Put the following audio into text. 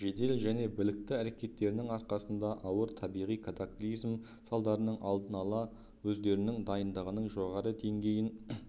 жедел және білікті әрекеттерінің арқасында ауыр табиғи катаклизм салдарының алдын алды өздерінің дайындығының жоғары деңгейін